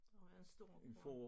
Det må være en stor gård